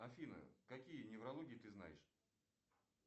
афина какие неврологии ты знаешь